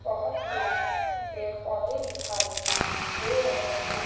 बहोत से पेड़ पौधे दिखाई दे रहे हैं।